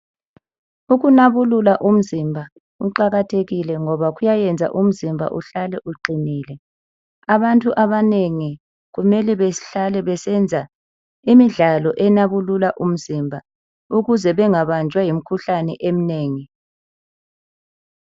Ukunabulula umzimba kuqakathekile ngoba kuyayenza umzimba uhlale uqinile. Abantu abanengi kumele behlale besenza imidlalo enabulula umzimba ukuze bengabanjwa yimkhuhlane eminengi.